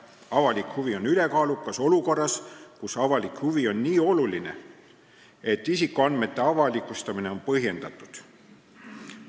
Avalik huvi on ülekaalukas olukorras, kus avalik huvi on nii oluline, et isikuandmete avalikustamine on põhjendatud.